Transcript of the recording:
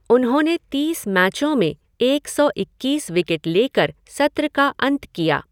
उन्होंने तीस मैचों में एक सौ इक्कीस विकेट लेकर सत्र का अंत किया।